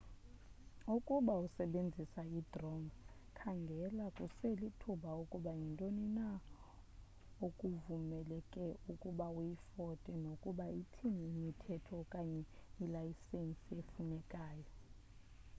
ukuba usebenzisa i-drone khangela kuselithuba ukuba yintoni na okuvumeleke ukuba uyifote nokuba ithini imithetho okanye ilayisenisi efunekayo